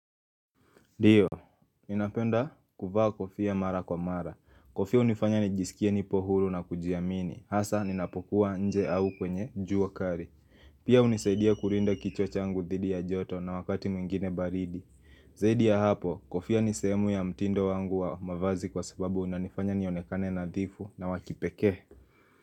Ndio, ninapenda kuvaa kofia mara kwa mara. Kofia hunifanya nijisikie nipo huru na kujiamini. Hasa, ninapokuwa nje au kwenye jua kali. Pia hunisaidia kulinda kichwa changu dhidi ya joto na wakati mwingine baridi. Zaidi ya hapo, kofia ni sehemu ya mtindo wangu wa mavazi kwa sababu unanifanya nionekane nadhifu na wa kipekee.